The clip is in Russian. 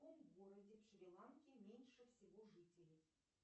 в каком городе в шри ланке меньше всего жителей